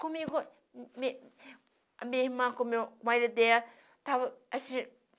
Comigo, a mi minha irmã, com o meu marido dela, estava